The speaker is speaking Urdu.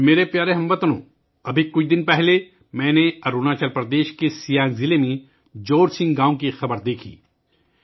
میرے پیارے ہم وطنو، ابھی کچھ دن پہلے، میں نے اروناچل پردیش کے سیانگ ضلع کے جورسنگ گاؤں سے ایک خبر دیکھی